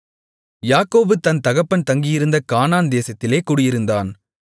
யாக்கோபு தன் தகப்பன் தங்கியிருந்த கானான் தேசத்திலே குடியிருந்தான்